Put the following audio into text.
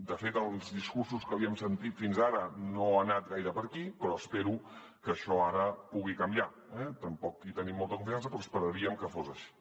de fet en els discursos que li hem sentit fins ara no ha anat gaire per aquí però espero que això ara pugui canviar eh tampoc hi tenim molta confiança però esperaríem que fos així